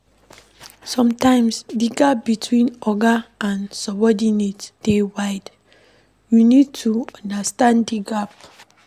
Sometimes di gap between oga and subordinate dey wide, you need to understand di gap